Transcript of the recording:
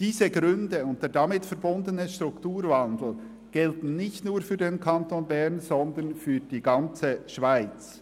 Diese Gründe und der damit verbundene Strukturwandel gelten nicht nur für den Kanton Bern, sondern für die ganze Schweiz.